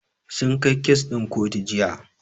Sun kai kes ɗin kotu Jiya.